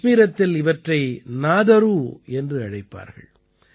கஷ்மீரத்தில் இவற்றை நாதரூ என்றழைப்பார்கள்